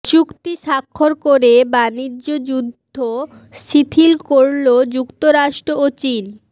চুক্তি স্বাক্ষর করে বাণিজ্যযুদ্ধ শিথিল করল যুক্তরাষ্ট্র ও চীন